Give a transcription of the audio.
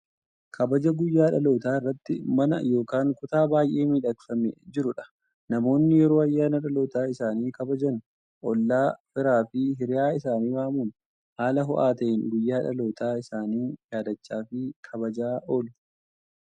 Kabaja guyyaa dhalootaa irratti mana yookaan kutaa baay'ee miidhagfamee jirudha. Namoonni yeroo ayyaana dhalootaa isaanii kabajan ollaa, firaa fi hiriyyaa isaanii waamuun haala ho'aa ta'een guyyaa dhaloota isaanii yaadachaa fi kabajaa oolu.